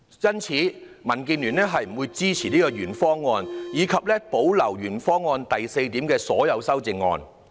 因此，民建聯不會支持原議案，以及保留原議案第四點的所有修正案。